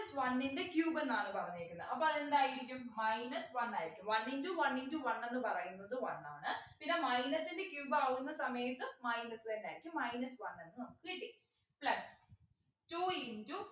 one ൻ്റെ cube ന്നാണ് പറഞ്ഞേക്കുന്നെ അപ്പൊ അതെന്തായിരിക്കും minus one ആയിരിക്കും one into one into one എന്ന് പറയുന്നത് one ആണ് പിന്ന minus ൻ്റെ cube ആവുന്ന സമയത്ത് minus തന്നെ ആയിരിക്കും minus one എന്ന് നമുക്ക് കിട്ടി അല്ലെ two into